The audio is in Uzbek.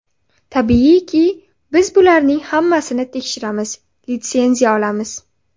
Tabiiyki, biz bularning hammasini tekshiramiz, litsenziya olamiz.